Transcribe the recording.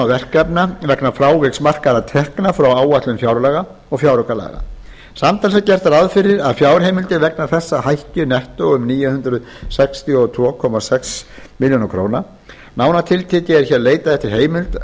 verkefna vegna fráviks markaðra tekna frá áætlun fjárlaga og fjáraukalaga samtals er gert ráð fyrir að fjárheimildir vegna þessa hækki nettó um níu hundruð sextíu og tvö komma sex milljónir króna nánar tiltekið er hér leitað eftir heimild